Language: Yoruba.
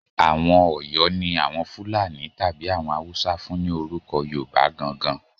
Àwọn Ọ̀yọ́ ni àwọn Fúlàní tàbí àwọn Haúsá fún ni orúko Yorùbá gan-an gan-an.